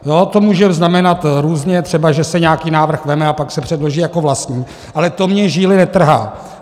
To může znamenat různě, třeba že se nějaký návrh vezme a pak se předloží jako vlastní, ale to mi žíly netrhá.